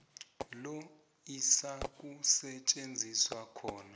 lo izakusetjenziswa khona